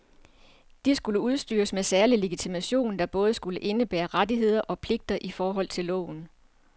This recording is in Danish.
De skulle udstyres med særlig legitimation, der både skulle indebære rettigheder og pligter i forhold til loven.